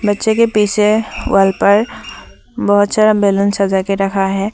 बच्चे के पीछे वॉल पर बहुत सारा बैलून सजा के रखा है।